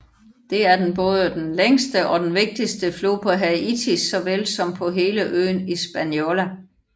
Det er den både den længste og den vigtigste flod i Haiti såvel som på hele øen Hispaniola